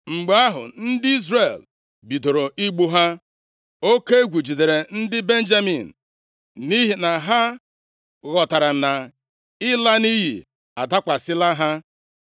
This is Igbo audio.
Mgbe ahụ, ndị Izrel bidoro igbu ha, oke egwu jidere ndị Benjamin nʼihi na ha ghọtara na ịla nʼiyi adakwasịla ha.